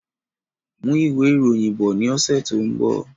Mú ìwé ìròyìn bọ̀ ní ọsẹ tó n bọ